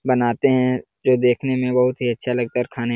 बनाते है जो देखने में बहुत ही अच्छा लगता है आउए खाने --